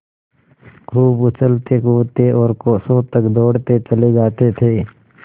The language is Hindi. खूब उछलतेकूदते और कोसों तक दौड़ते चले जाते थे